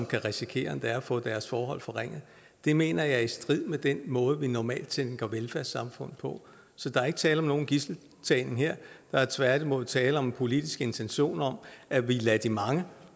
kan risikere at få deres forhold forringet mener jeg er i strid med den måde vi normalt tænker velfærdssamfund på så der er ikke tale om nogen gidseltagning her der er tværtimod tale om en politisk intention om at vi lader de mange